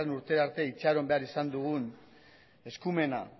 urte arte itxaron behar izan dugun eskumena